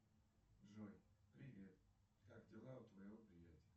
джой привет как дела у твоего приятеля